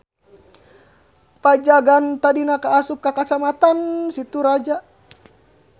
Pajagan tadina kaasup ka Kacamatan Situraja.